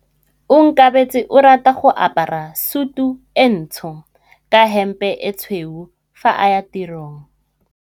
Onkabetse o rata go apara sutu e ntsho ka hempe e tshweu fa a ya tirong.